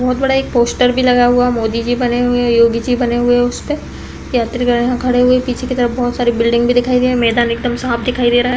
बहोत बड़ा एक पोस्टर भी लगा हुआ है। मोदी जी बने हुए हैंयोगी जी बने हुए हैं उसपे यात्रीगण यहाँ खड़े हुए हैं पीछे की तरफ बहोत सारी बिल्डिंग भी दिखाई दे मैदान एकदम साफ़ दिखाई दे रहा है।